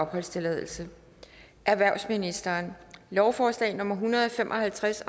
halvtreds erhvervsministeren lovforslag nummer hundrede og fem og halvtreds